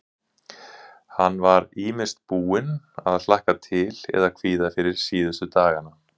Hann var ýmist búinn að hlakka til eða kvíða fyrir síðustu dagana.